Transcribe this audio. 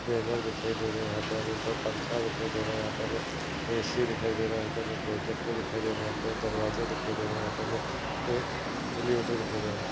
banner दिखाई दे रहे है यहा पे हमे पंखा दिखाई दे रहा है यहा पे हमे ऐसी दिखाई दे रहा यहा पे हमे प्रोजेकटेर दिखाई दे रहा है यहा पे हमे दरवाजा दिखाई दे रहा है यहा पे हमे अलिवेटेर दिखाई दे रहा--